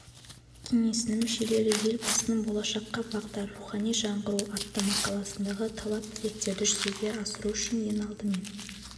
кеңесінің мүшелері елбасының болашаққа бағдар рухани жаңғыру атты мақаласындағы талап-тілектерді жүзеге асыру үшін ең алдымен